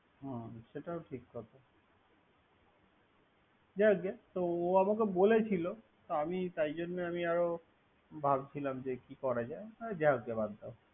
হুম সেটাও ঠিক কথা, যাই হোক গে। তো ও আমাকে বলেছি। তাই আমি জন্য আরো ভাবছিলাম কি করা যায়। যাও হোক গে বাদ দাও।